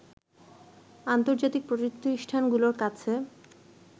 আন্তজার্তিক প্রতিষ্ঠানগুলোর কাছে